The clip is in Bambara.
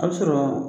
A bɛ sɔrɔ